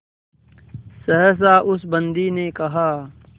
सहसा उस बंदी ने कहा